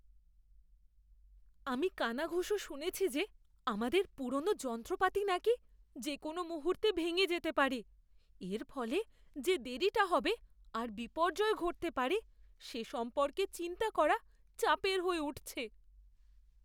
আমি কানাঘুষো শুনেছি যে আমাদের পুরনো যন্ত্রপাতি নাকি যে কোনও মুহূর্তে ভেঙে যেতে পারে। এর ফলে যে দেরিটা হবে আর বিপর্যয় ঘটতে পারে সে সম্পর্কে চিন্তা করা চাপের হয়ে উঠছে।